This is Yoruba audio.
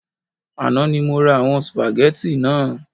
Àná ni mo ra àwon spaghetti naa